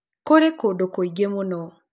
Kũrĩ kũndũ kũingĩ mũno